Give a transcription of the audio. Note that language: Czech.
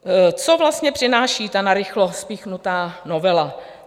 Co vlastně přináší ta narychlo spíchnutá novela?